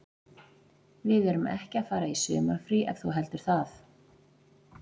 Við erum ekki að fara í sumarfrí ef þú heldur það.